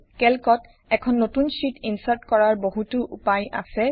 কেল্কত এখন নতুন শ্বিট ইনচাৰ্ট কৰাৰ বহুতো উপায় আছে